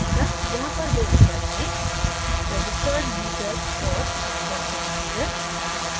यहाँ पर दो विकल्प हैंregistered user और first time user